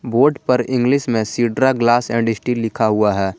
Board पर English में सीड्रा ग्लास एंड स्टील लिखा हुआ है।